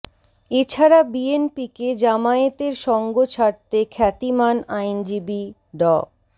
এ ছাড়া বিএনপিকে জামায়াতের সঙ্গ ছাড়তে খ্যাতিমান আইনজীবী ড